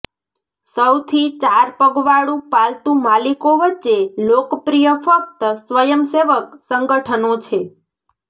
સૌથી ચાર પગવાળું પાલતુ માલિકો વચ્ચે લોકપ્રિય ફક્ત સ્વયંસેવક સંગઠનો છે